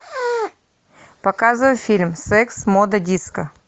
показывай фильм секс мода диско